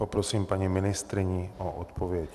Poprosím paní ministryni o odpověď.